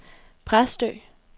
Præstø